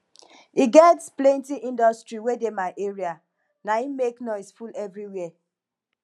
e get plenty industry wey dey my area naim make noise full everywhere